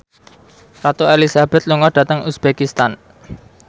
Ratu Elizabeth lunga dhateng uzbekistan